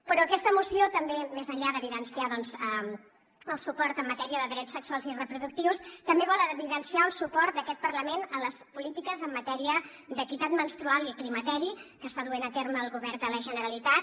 però aquesta moció més enllà d’evidenciar doncs el suport en matèria de drets sexuals i reproductius també vol evidenciar el suport d’aquest parlament a les polítiques en matèria d’equitat menstrual i climateri que està duent a terme el govern de la generalitat